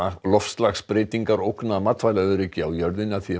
loftslagsbreytingar ógna matvælaöryggi á jörðinni að því er